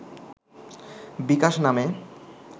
বিকাশ নামে